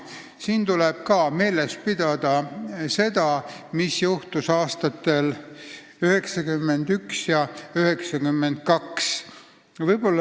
Siin tuleb meeles pidada, mis juhtus aastatel 1991 ja 1992.